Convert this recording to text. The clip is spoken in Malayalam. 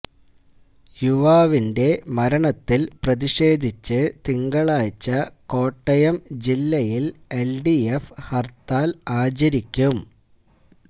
യുവാവിന്റെ മരണത്തില് പ്രതിഷേധിച്ച് തിങ്കളാഴ്ച കോട്ടയം ജില്ലയില് എല്ഡിഎഫ് ഹര്ത്താല് ആചരിക്കും